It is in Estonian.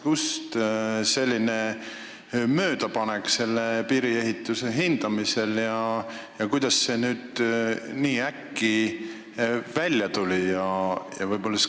Kust selline möödapanek piiriehituse maksumuse hindamisel ja kuidas see nüüd nii äkki välja tuli?